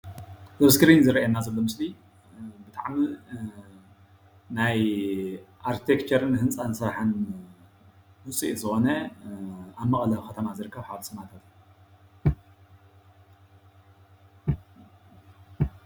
እዚ ኣብ እስክሪን ዝረአየናሎ ምስሊ ናይ ኣርቲክቸርን ህንፃ ስራሕን ውፅኢት ዝኮነ ኣብ መቐለ ከተማ ዝርከብ ሓወልቲ ሰማእታት እዩ፡፡